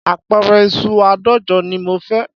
Apẹ̀rẹ̀ ìṣù àádọ́jọ ni mo fẹ́